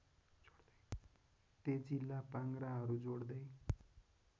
तेजीला पाङ्ग्राहरू जोड्दै